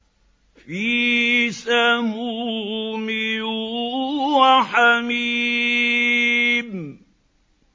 فِي سَمُومٍ وَحَمِيمٍ